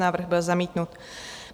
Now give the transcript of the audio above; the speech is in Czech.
Návrh byl zamítnut.